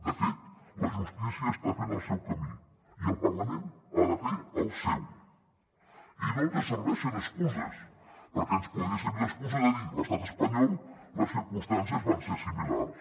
de fet la justícia està fent el seu camí i el parlament ha de fer el seu i no ens serveixen excuses perquè ens podria servir l’excusa de dir a l’estat espanyol les circumstàncies van ser similars